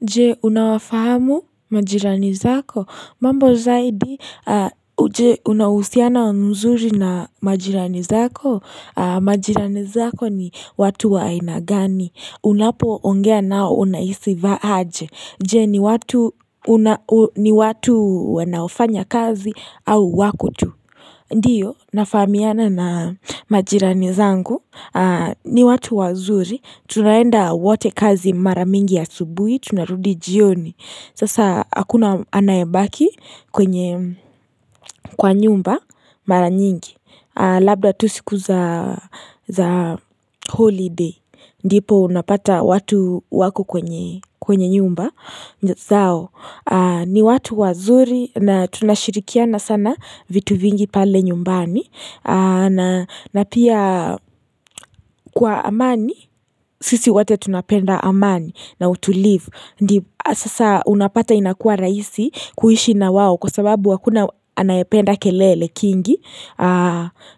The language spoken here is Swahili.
Je, unawafahamu majirani zako? Mambo zaidi, je, unauhusiano mzuri na majirani zako? Majirani zako ni watu wa aina gani. Unapoongea nao unahisi aje Je, ni watu wanaofanya kazi au wako tu. Ndiyo, nafahamiana na majirani zangu, ni watu wazuri, tunaenda wote kazi mara mingi asubuhi, tunarudi jioni, sasa hakuna anayebaki kwenye kwa nyumba mara nyingi, labda tu siku za holiday, ndipo unapata watu wako kwenye nyumba zao. Ni watu wazuri na tunashirikiana sana vitu vingi pale nyumbani na pia kwa amani, sisi wate tunapenda amani na utulivu Sasa unapata inakua raisi kuishi na wao kwa sababu hakuna anayependa kelele kingi